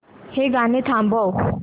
हे गाणं थांबव